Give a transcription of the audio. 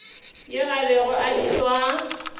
yo a bego a bitšwa